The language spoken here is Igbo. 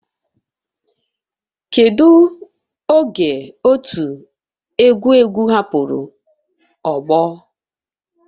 Kedu oge otu egwu egwu hapụrụ ogbo